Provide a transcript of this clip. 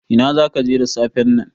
Ina zaka je da safen nan?